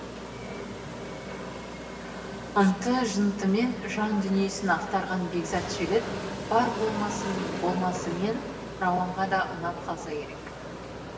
ынты жынтымен жан дүниесін ақтарған бекзат жігіт бар болмасымен рауанға да ұнап қалса керек